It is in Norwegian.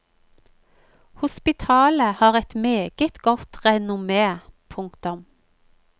Hospitalet har et meget godt renommé. punktum